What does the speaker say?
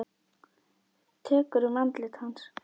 Tekur um andlit hans.